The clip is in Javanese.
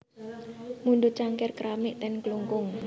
Mundhut cangkir keramik ten Klungkung